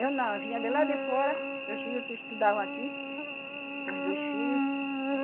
Eu não, eu vinha de lá de fora, meus filhos estudavam aqui, com os dois filhos.